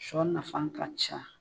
Shɔ nafan ka ca.